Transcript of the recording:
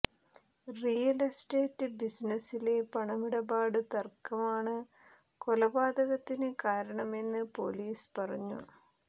real estate ബിസിനസ്സിലെ പണമിടപാട് തര്ക്കമാണ് കൊലപാതകത്തിന് കാരണമെന്ന് പോലീസ് പറഞ്ഞു